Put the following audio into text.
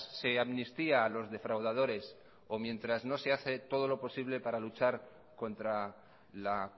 se amnistía a los defraudadores o mientras no se hace todo lo posible para luchar contra la